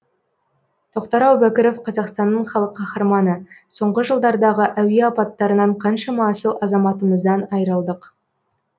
тоқтар әубәкіров қазақстанның халық қаһарманы соңғы жылдардағы әуе апаттарынан қаншама асыл азаматымыздан айырылдық